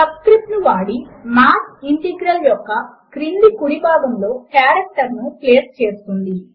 sub script ను వాడి math integral యొక్క క్రింది కుడి భాగములో కారెక్టర్ ను ప్లేస్ చేస్తుంది